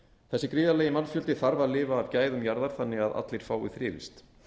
þessi gríðarlegi mannfjöldi þarf að lifa af gæðum jarðar þannig að allir fái þrifist